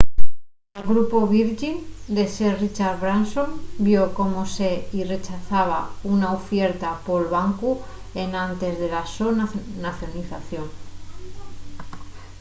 el grupu virgin de sir richard branson vio como se-y rechazaba una ufierta pol bancu enantes de la so nacionalización